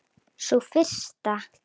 Sú fyrsta?